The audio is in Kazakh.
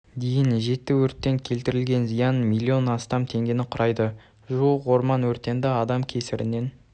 дейін жетті өрттен келтірілген зиян миллион астам теңгені құрайды жуық орман өрттері адам кесірінен